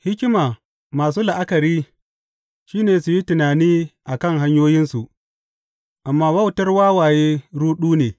Hikima masu la’akari shi ne su yi tunani a kan hanyoyinsu, amma wautar wawaye ruɗu ne.